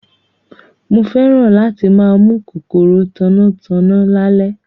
Mo fẹ́ràn láti máa mú kòkòrò tanná tanná lálẹ́